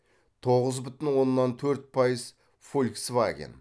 тоғыз бүтін оннан төрт пайыз фольксваген